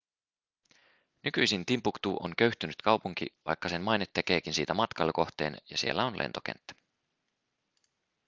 nykyisin timbuktu on köyhtynyt kaupunki vaikka sen maine tekeekin siitä matkailukohteen ja siellä on lentokenttä